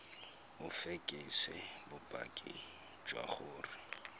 o fekese bopaki jwa gore